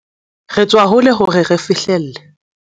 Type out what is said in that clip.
Re tswa hole hore re fihlelle